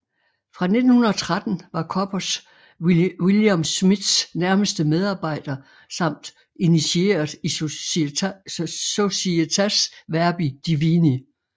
Fra 1913 var Koppers Wilhelm Schmidts nærmeste medarbejder samt initieret i Societas Verbi Divini